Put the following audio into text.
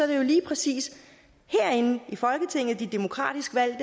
det jo lige præcis de demokratisk valgte